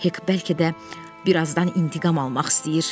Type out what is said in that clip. Hek bəlkə də birazdan intiqam almaq istəyir.